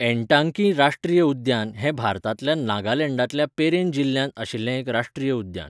एनटांगकी राश्ट्रीय उद्यान हें भारतांतल्या नागालँडांतल्या पेरेन जिल्ह्यांत आशिल्लें एक राश्ट्रीय उद्यान.